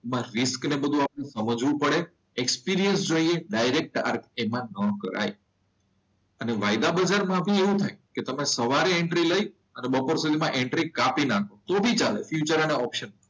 તેમાં રિસ્ક અને તે બધે આપણે સમજવો પડે એક્સપિરિયન્સ જોઈએ ડાયરેક્ટ આ રીતના ન કરાય. અને વાયદા બજારમાં આવું થાય કે તમે સવારે એન્ટ્રી લઈ અને બપોર સુધીમાં એન્ટ્રી કાપી નાખો તો પણ ચાલે ફ્યુચર ના ઓપ્શન માં.